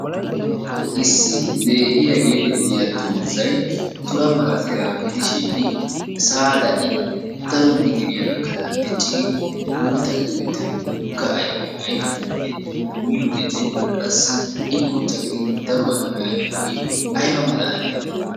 Issi leehiya geetettiya dozzay tura malattiyagaa gidishin sa'aara i daro mitiriya gakanaashin diccidi guutta gidi uttidi woga ayffiya ayffidoogee miyodenne qassi i guutta gidin daruwa ayfiya ayfoogee aybba malaaliyaabee!